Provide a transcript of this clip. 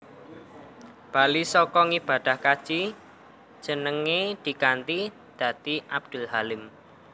Bali saka ngibadah kaji jenenge diganti dadi Abdul Halim